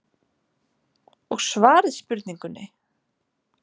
Og svarið spurningunni